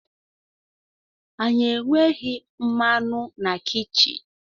Anyị enweghị mmanụ na kichin